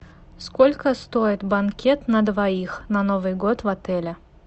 сколько стоит банкет на двоих на новый год в отеле